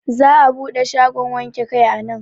Za'a buɗe shagon wanke kai a nan.